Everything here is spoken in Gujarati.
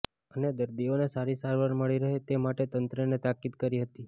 અને દર્દીઓને સારી સારવાર મળી રહે તે માટે તંત્રને તાકીદ કરી હતી